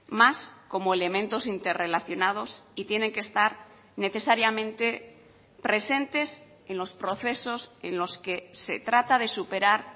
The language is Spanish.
más como elementos interrelacionados y tienen que estar necesariamente presentes en los procesos en los que se trata de superar